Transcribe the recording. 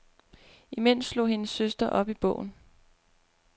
Imens slog hendes søster op i bogen.